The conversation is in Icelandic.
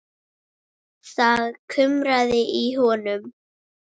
Það kumraði í honum.